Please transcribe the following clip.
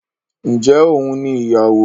Ǹjẹ́ òun ni ìyàwó?